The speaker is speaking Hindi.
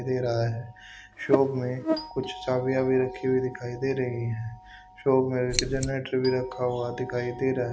दे रहा है शॉप में कुछ चाबियां भी रखी हुई दिखाई दे रही हैं शॉप में एक जेनरेटर भी रखा हुआ दिखाई दे रहा है।